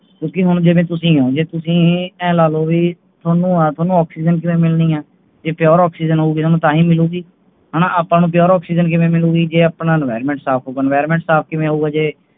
ਕਿਓਂਕਿ ਹੁਣ ਜਿਵੇਂ ਤੂਸੀ ਹੋਂ ਤੁਸੀਂ ਏ ਲਾਲੋ ਵੀ ਤੁਹਾਨੂੰ ਆ ਤੁਹਾਨੂੰ ਓਕ੍ਸੀਜਨ ਕਿਵੇਂ ਮਿਲਣੀ ਹੈ ਜੇ Pure ਓਕ੍ਸੀਜਨ ਹੋਏਗੀ ਨਾ ਤਾਂ ਹੀ ਮਿਲੂਗੀ ਹਾਣਾ ਆਪਾਂ ਨੂੰ Pure ਓਕ੍ਸੀਜਨ ਕਿਵੇਂ ਮਿਲੇਗੀ ਜੇ ਆਪਣਾ Environment ਸਾਫ ਹੋਏਗਾ ਹੁਣ Environment ਸਾਫ ਕਿਵੇਂ ਹੋਊਗਾ ਜੇ